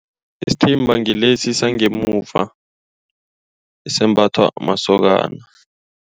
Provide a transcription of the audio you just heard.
Isithimba ngilesi sangemuva esembathwa masokana.